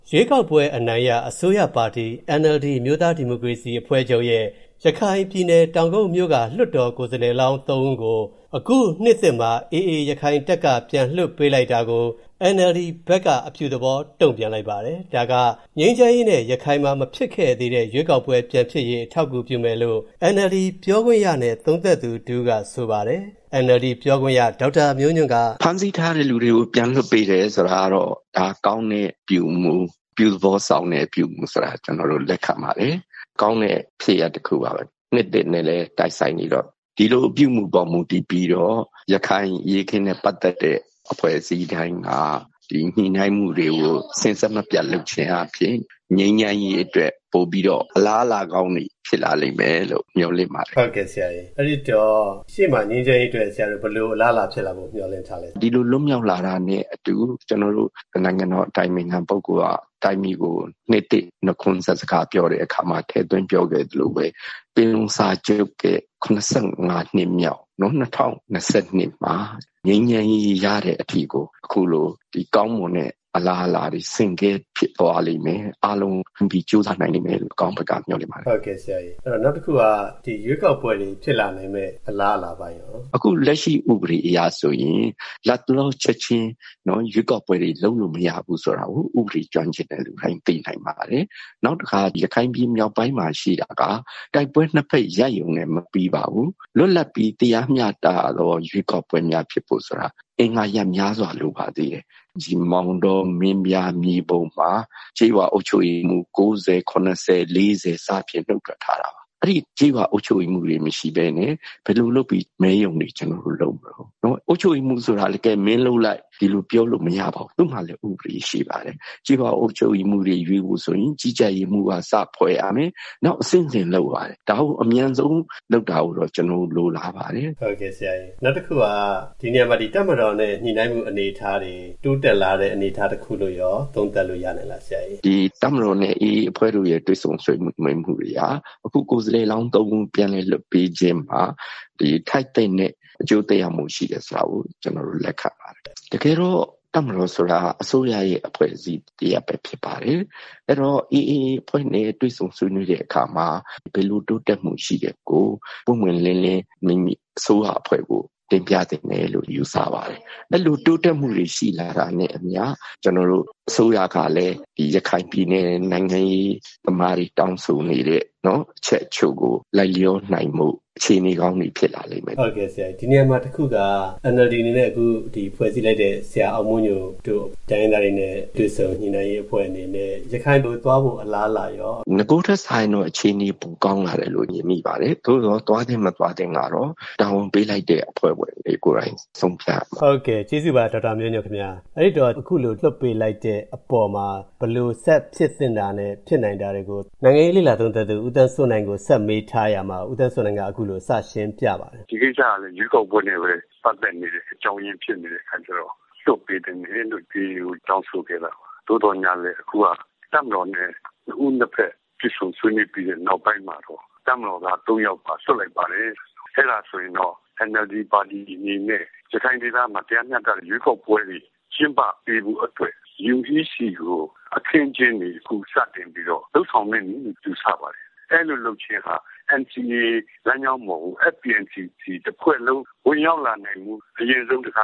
ရွေးကောက်ပွဲအနိုင်ရ အစိုးရပါတီ NLD အမျိုးသားဒီမိုကရေစီအဖွဲ့ချုပ်ရဲ့၊ ရခိုင်ပြည်နယ် တောင်ကုတ်မြို.က လွှတ်တော်ကိုယ်စားလှယ်လောင်း ၃ ဦးကို၊ အခုနှစ်သစ်မှာ AA ရခိုင်တပ်ဖက်က ပြန်လွှတ်ပေးလိုက်တာကို၊ NLD ဘက်က အပြုသဘောတုံ့ပြန်လိုက်ပါတယ်။ ဒီဟာက ငြိမ်းချမ်းရေးနဲ့ ရခိုင်မှာ မဖြစ်ခဲ့တဲ့ရွေးကောက်ပွဲတွေပြန်ဖြစ်ရေး အထောက်အကူပြုလိမ့်မယ်လို့၊ NLD ပြောခွင့်ရနဲ့ သုံးသပ်သူတစ်ဦးက ဆိုပါတယ်။ ကိုဝင်းမင်းက မေးရာမှာ၊ NLD ပြောခွင့်ရ ဒေါက်တာမျိုးညွှန့်က - ဖမ်းဆီးထားတဲ့ လူတွေကို ပြန်လွှတ်ပေးတယ်ဆိုတာကတော့ ဒါက ကောင်းတဲ့ အပြုအမှု ၊ အပြုသဘောဆောင်တဲ့ အပြုအမှုဆိုတာ ကျနော်တို့ လက်ခံပါတယ်။ ကောင်းတဲ့ ဖြစ်ရပ်တခုပါပဲ နှစ်သစ်နဲ့လည်း တိုက်ဆိုင်နေတော့ ဒီလိုအပြုအမှုမှာ မူတည်ပြီးတော့ ရခိုင်အရေးအခင်းနဲ့ ပတ်သက်တဲ့ အဖွဲ့အစည်းတိုင်းက ဒီညှိနှိုင်းမှုတွေကို စဉ်ဆက်မပျက်လုပ်ခြင်းအားဖြင့် ငြိမ်းချမ်းရေးအတွက် ပိုပြီးတော့ အလားအလာကောင်းတွေ ဖြစ်လာလိမ့်မယ်လို့ မျှော်လင့်ပါတယ်။ ဟုတ်ကဲ့ဆရာရေ အဲဒီတော့ ရှေ့မှာငြိမ်းချမ်းရေးအတွက် ဘယ်လိုအလားလာဖြစ်လာဖို့ မျှော်လင့်ထားသလဲ။ ဒီလို လွတ်မြောက်လာတာနဲ့အတူ ကျနော်တို့ နိုင်ငံတော် အတိုင်ပင်ခံ ပုဂ္ဂိုလ်က တိုင်းပြည်ကို နှစ်သစ်နှုတ်ခွန်းဆက်စကားပြောတဲ့အခါမှာ ထည့်သွင်းပြောခဲ့သလိုပဲ ပင်လုံစာချုပ်ရဲ့ ၇၅ နှစ်မြောက် ၂၀၂၂ မှာ ငြိမ်းချမ်းရေးရတဲ့အထိကို အခုလို ကောင်းမွန်တဲ့အလားအလာတွေ ဆင့်ကဲဖြစ်လိမ့်မယ်။ အားလုံးကြိုးစားလိမ့်မယ်လို့ အကောင်းဘက်က မျှော်လင့်ပါတယ်။ ဟုတ်ကဲ့ဆရာရေ နောက်တခုက ရွေးကောက်ပွဲတွေ ဖြစ်လာနိုင်မယ့်အလားအလာတွေရော။ အခုလက်ရှိ ဥပဒေအရဆိုရင် လက်တလောချက်ချင်း ရွေးကောက်ပွဲတွေလုပ်လို့ မရဘူးဆိုတာကို ဥပဒေကျွမ်းကျင်သူတွေ သိနိုင်ပါတယ်။ နောက်တခါ ရခိုင်ပြည်မြောက်ပိုင်းမှာ ရှိတာက တိုက်ပွဲ ၂ ဖက် ရပ်ရုံနဲ့ မပြီးပါဘူး။ လွတ်လပ်ပြီး တရားမျှတတဲ့ ရွေးကောက်ပွဲများဖြစ်ဖို့ဆိုတာက အင်္ဂါရပ်များစွာလိုပါတယ်။ မောင်တော ၊ မင်းပြား၊ မြေပုံမှာ ကျေးရွာအုပ်ချုပ်ရေးမှူး ၉၀၊ ၇၀ ၊ ၄၀ စသည်ဖြင့် နုတ်ထွက်ထားတာပါ။ အဲဒီ ကျေးရွာအုပ်ချုပ်ရေးမှူးတွေ မရှိပဲနဲ့ ဘယ်လိုလုပ်ပြီး မဲရုံတွေ ကျနော်တို့ လုပ်မတုန်း။ ကျေးရွာအုပ်ချုပ်ရေးမှူး ဆိုတာကလည်း မင်းလုပ်လိုက်.. ဆိုပြီး ပြောလို့မရပါဘူး။ သူတို့မှာလည်း ဥပဒေရှိပါတယ်။ ကျေးရွာအုပ်ချုပ်ရေးမှူးတွေ ရွေးဖို့ဆိုရင် ကြီးကြပ်ရေးမှူကစ ဖွဲ့ရမယ် ။ နောက်ပြီးတော့ အဆင့်ဆင့်လုပ်ရပါတယ်။ ဒါကိုအမြန်ဆုံး လုပ်တာကိုတော့ ကျနော်တို့ လိုလားပါတယ်။ ဟုတ်ကဲ့ဆရာရေ ဒီနေရာမှာ တပ်မတော်နဲ့ ညှိနှိုင်းမှု အနေအထားတွေ တိုးတက်လာတဲ့ အနေအထား တခုလို့ရော သုံးသပ်လို့ရနိုင်သလား ဆရာရေ။ တပ်မတော်နဲ့ AA အဖွဲ့တို့ရဲ့ တွေ့ဆုံဆွေးနွေးမှုတွေက အခု ကိုယ်စားလှယ်လောင်း ၃ ဦး ပြန်လည်လွှတ်ပေးချင်းမှာ ထိုက်သင့်တဲ့ အကျိုးသက်ရောက်မှု ရှိတယ်ဆိုတာကို ကျနော်တို့ လက်ခံပါတယ်။ တကယ်တော့ တပ်မတော်ဆိုတာက အစိုးရရဲ့ အဖွဲ့အစည်းတရပ်ဖြစ်ပါတယ်။ အဲဒီတော့ AA အဖွဲ့နဲ့ တွေ့ဆုံဆွေးနွေးတဲ့ အခါမှာ ဘယ်လိုတိုးတက်မှုရှိတာကို ပွင့်ပွင့်လင်းလင်း မိမိ အစိုးရအဖွဲ့ကို တင်ပြသင့်တယ်လို့ ယူဆပါတယ်။ အဲဒီလို တိုးတက်မှုတွေ ရှိလာတာနဲ့ အမျှ ကျနော်တို့ အစိုးရကလည်း ရခိုင်ပြည်နယ် နိုင်ငံရေးသမားတွေ တောင်းဆိုနေတဲ့ အချက်အချို့ကို လိုက်လျောနိုင်ဖို့ အခြေအနေကောင်း တွေဖြစ်လာလိမ့်မယ်။ ဟုတ်ကဲ့ဆရာရေ ဒီနေရာမှာ တခုက NLD အနေနဲ့ အခုဖွဲ့စည်းလိုက်တဲ့ ဆရာအောင်မိုးညိုတို့ တိုင်းရင်းသားတွေနဲ့ တွေ့ဆုံညှိနှိုင်းရေးအဖွဲ့အနေနဲ့ ရခိုင်ကို သွားဖို့ အလားအလာရော။ နဂိုထက်စာရင်တော့ အခြေအနေ ပိုကောင်းလာတယ်လို့ မြင်မိပါတယ်။ သို့သော် သွားသင့် မသွားသင့်ကတော့ တာဝန်ပေးလိုက်တဲ့ အဖွဲ့တွေကိုယ်တိုင်ဆုံးဖြတ်ရမှာပါ။” အဲဒီတော့ အခုလို လွှတ်ပေးလိုက်တဲ့ အပေါ်မှာ ဘယ်လိုဆက်ဖြစ်သင့်တာနဲ့ ဖြစ်နိုင်တာတွေကို နိုင်ငံရေးလေ့လာသုံးသပ်သူ ဦးသန်းစိုးနိုင်ကို ဆက်မေးထားရာမှာ ဦးသန်းစိုးနိုင်က အခုလို စရှင်းပြပါတယ်။ ဒီကိစ္စမှာလည်း ရွေးကောက်ပွဲနဲ့ပဲ ပတ်သက်နေတဲ့ အကြောင်းအရင်းဖြစ်နေတာကြောင့် လွှတ်ပေးသင့်တယ်လို့ AA ကိုတောင်းဆိုခဲ့တာပါ။ သို့သော်လည်း အခုက တပ်မတော်နဲ့ ၂ ဦး ၂ ဖက် တွေ့ဆုံဆွေးနွေးပြီးတဲ့ နောက်ပိုင်းမှာတော့ တပ်မတော်သား ၃ ယောက်ကို လွှတ်လိုက်ပါတယ်။ အဲဒါဆိုရင်တော့ NLD ပါတီအနေနဲ့ ရခိုင်ဒေသမှာ တရားမျှတတဲ့ ရွေးကောက်ပွဲတွေ ကျင်းပပေးဖို့အတွက် UEC ကို အခင်းအကျင်းတွေ အခုစတင်ပြီးတော့ လုပ်ဆောင်မယ့်နည်းလို့ ယူဆပါတယ်။ အဲဒီကို လုပ်ခြင်းဟာ NCA လမ်းကြောင်းပေါ်ကို FPNCC တဖွဲ့လုံး ဝင်ရောက်လာနိုင်ဖို့ အရင်ဆုံး တခါ